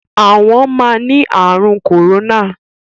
Àwọn máa ni àrùn kórónà.